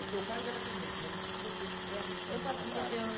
O seu cargo era atendente, mas o que que você realmente fazia na prática? Eu fazi, eu